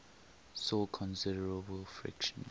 saw considerable friction